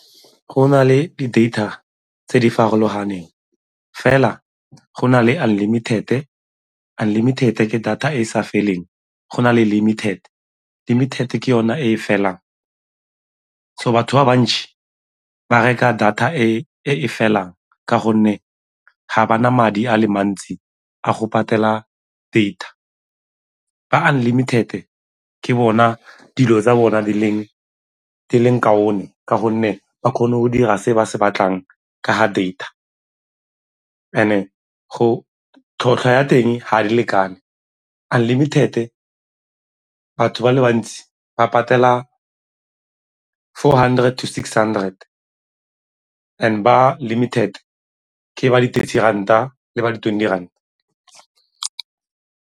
Go na le di-data tse di farologaneng fela go na le unlimited-e, unlimited ke data e e sa feleng, go na le limited, limited ke yone e e felang. So batho ba bantšhi ba reka data e e felang ka gonne ga ba na madi a le mantsi a go patela data. Ba unlimited-e, ke bona dilo tsa bona di leng ka 'onne ka gonne ba kgone go dira se ba se batlang ka ga data. And-e tlhotlhwa ya teng ga di lekane, unlimited-e ba batho ba le bantsi ba patela four hundred to six hundred and ba limited ke ba di-thirty ranta le ba di-twenty ranta.